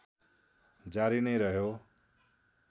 जारी नै रह्यो